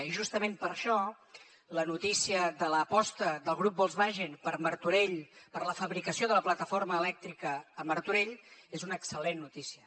i justament per això la notícia de l’aposta del grup volkswagen per martorell per la fabricació de la plataforma elèctrica a martorell és una excel·lent notícia